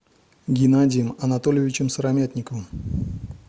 генадием анатольевичем сыромятниковым